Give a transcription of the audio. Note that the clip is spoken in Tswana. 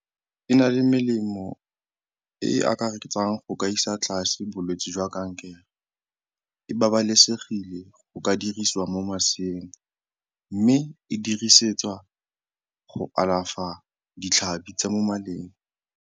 E na le melemo e e akaretsang go ka isa tlase bolwetse jwa kankere, e babalesegile go ka dirisiwa mo maseeng mme e dirisetswa go alafa ditlhabi tsa mo maleng.